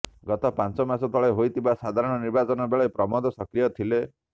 ଗତ ପାଞ୍ଚ ମାସ ତଳେ ହୋଇଥିବା ସାଧାରଣ ନିର୍ବାଚନ ବେଳେ ପ୍ରମୋଦ ସକ୍ରିୟ ଥିଲେ